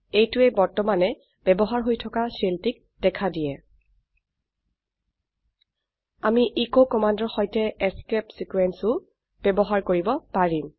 এইটোৱে বৰ্তমানে ব্যবহাৰ হৈ থকা শেলটিক দেখা দিয়ে আমি এচ কমান্ডৰ সৈতে এস্কেপ ছিকোয়েন্স ও ব্যবহাৰ কৰিব পাৰিম